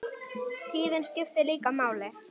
Tíðnin skiptir líka máli.